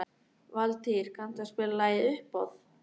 Valtýr, kanntu að spila lagið „Uppboð“?